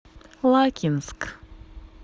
лакинск